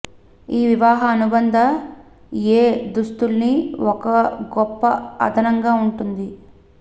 ఈ వివాహ అనుబంధ ఏ దుస్తుల్ని ఒక గొప్ప అదనంగా ఉంటుంది